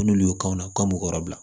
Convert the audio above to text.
N'olu y'o kanw na k'an b'u kɔrɔ bila